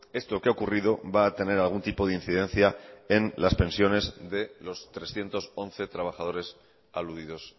esto que ha ocurrido va a tener algún tipo de incidencia en las pensiones de los trescientos once trabajadores aludidos